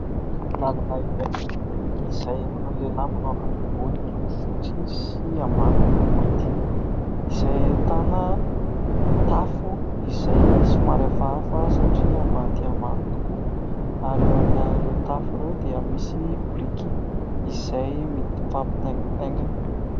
Lalana iray izay ahitana lehilahy manao akanjo ambony miloko fotsy sy ambany miloko mainty ; izay ahitana tafo izay somary hafahafa satria ambany dia ambany tokoa ary aorianan'ireo tafo ireo dia misy biriky izay mifampitaingitaingina.